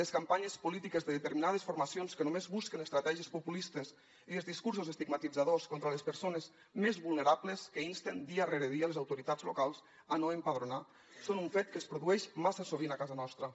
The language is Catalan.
les campanyes polítiques de determinades formacions que només busquen estratègies populistes i els discursos estigmatitzadors contra les persones més vulnerables que insten dia rere dia les autoritats locals a no empadronar són un fet que es produeix massa sovint a casa nostra